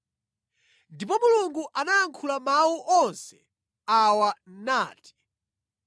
Ndipo Mulungu anayankhula mawu onse awa nati: